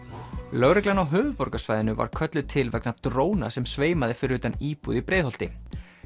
lögreglan á höfuðborgarsvæðinu var kölluð til vegna dróna sem sveimaði fyrir utan íbúð í Breiðholti